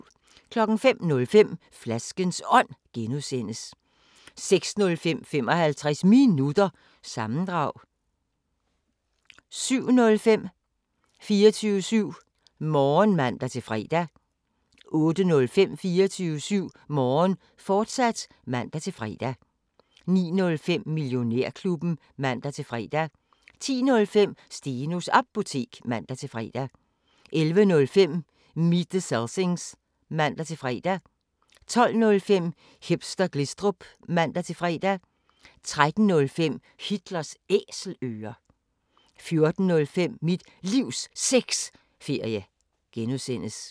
05:05: Flaskens Ånd (G) 06:05: 55 Minutter – sammendrag 07:05: 24syv Morgen (man-fre) 08:05: 24syv Morgen, fortsat (man-fre) 09:05: Millionærklubben (man-fre) 10:05: Stenos Apotek (man-fre) 11:05: Meet The Selsings (man-fre) 12:05: Hipster Glistrup (man-fre) 13:05: Hitlers Æselører 14:05: Mit Livs Sexferie (G)